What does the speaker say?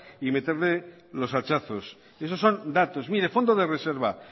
y meterle los hachazos eso son datos mire fondo de reserva